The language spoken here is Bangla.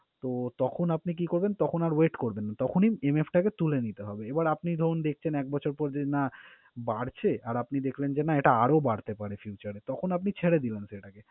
তো, তখন আপনি কি করবেন? তখন আর wait করবেন না। তখনই MF টাকে তুলে নিতে হবে। এবার আপনি ধরুন, দেখছেন এক বছর পর যে না বাড়ছে আর আপনি দেখছেন যে এটা আরও বাড়তে পারে future এ তখন আপনি ছেড়ে দিলেন সেটাকে।